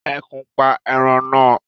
Ẹkùn pa ẹran na